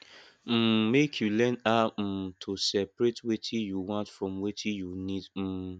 um mek yu learn how um to seperate wetin yu want from wetin yu nid um